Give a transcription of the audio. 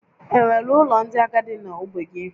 Enwere ụlọ ndị agadi na ogbe gị?